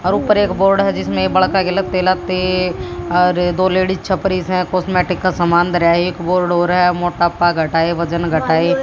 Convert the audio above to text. और ऊपर एक बोर्ड है जिसमें बड़ा और दो लेडीज छप रही इसमें कॉस्मेटिक का सामान धरा है एक बोर्ड और है मोटापा घटाएं वजन घटाएं।